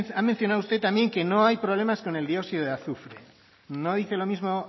ha mencionado usted también que no hay problemas con el dióxido de azufre no dice lo mismo